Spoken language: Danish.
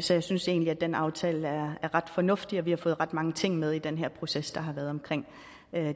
så jeg synes egentlig at den aftale er ret fornuftig og at vi har fået ret mange ting med i den her proces der har været omkring